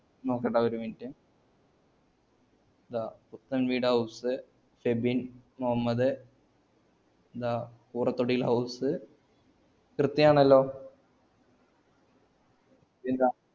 നോക്കട്ടെ ഒരു minute പുത്തൻവീട് house സെബിൻ മുഹമ്മദ് ആഹ് ഉറത്തൊടിയിൽ house കൃത്യണല്ലോ